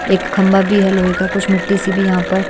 एक खंभा भी है लोहे का कुछ मिट्टी सी भी यहाँ पर--